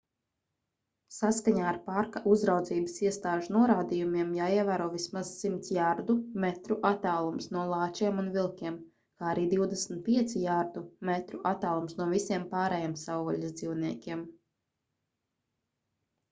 saskaņā ar parka uzraudzības iestāžu norādījumiem jāievēro vismaz 100 jardu/metru attālums no lāčiem un vilkiem kā arī 25 jardu/metru attālums no visiem pārējiem savvaļas dzīvniekiem!